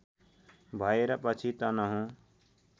भएर पछि तनहुँ